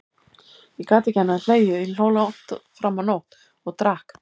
Ég gat ekki annað en hlegið, ég hló langt fram á nótt, og drakk.